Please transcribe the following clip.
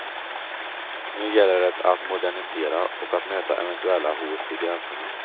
Nu gäller det att modernisera och att möta eventuella hot vid gränserna.